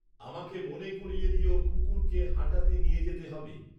আমাকে মনে করিয়ে দিও কুকুরকে হাঁটাতে নিয়ে যেতে হবে